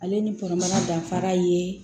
Ale ni kɔnɔmaya danfara ye